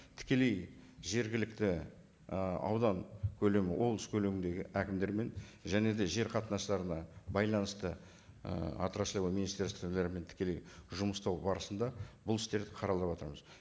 тікелей жергілікті ы аудан көлемі облыс көлеміндегі әкімдермен және де жер қатынастарына байланысты ы отраслевой министерстволармен тікелей жұмыс тобы барысында бұл істерді жатырмыз